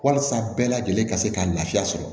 Walasa bɛɛ lajɛlen ka se ka lafiya sɔrɔ